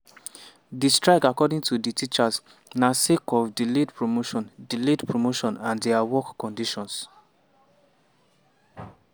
di strike according to di teachers na sake of delayed promotion delayed promotion and dia working conditions.